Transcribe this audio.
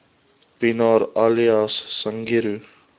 pienaar alias sangiro